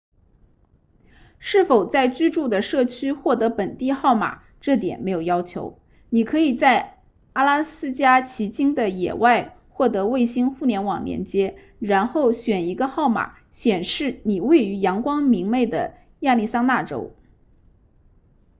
是否在居住的社区获得本地号码这点没有要求你可以在阿拉斯加奇金的野外获得卫星互联网连接然后选一个号码显示你位于阳光明媚的亚利桑那州